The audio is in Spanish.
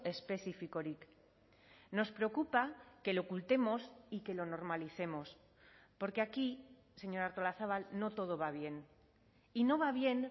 espezifikorik nos preocupa que lo ocultemos y que lo normalicemos porque aquí señora artolazabal no todo va bien y no va bien